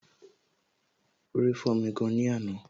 Orí fọ́mi gan ni àná